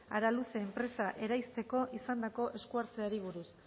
araluce enpresa eraisteko izandako esku hartzeari buruz